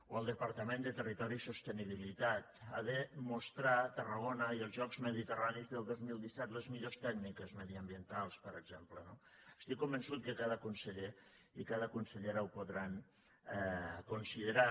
o el departament de territori i sostenibilitat ha de mostrar a tarragona i als jocs mediterranis del dos mil disset les millors tècniques mediambientals per exem ple no estic convençut que cada conseller i cada consellera ho podran considerar